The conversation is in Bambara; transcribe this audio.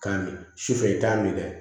K'a min sufɛ i t'a min dɛ